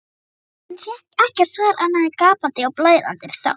en fékk ekkert svar annað en gapandi og blæðandi þögn.